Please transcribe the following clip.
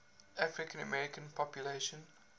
african american population